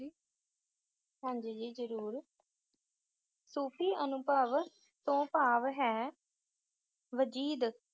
ਹਾਂਜੀ ਜੀ ਜ਼ਰੂਰ ਸੂਫ਼ੀ ਅਨੁਭਵ ਤੋਂ ਭਾਵ ਹੈ ਵਜੀਦ